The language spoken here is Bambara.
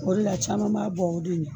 O de la caman b'a bɔ o de ɲɛ